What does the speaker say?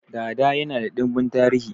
Dada yana da dimbin tarihi